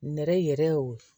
Nɛrɛ yɛrɛ y'o ye